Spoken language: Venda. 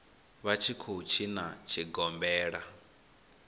vha tshi khou tshina tshigombela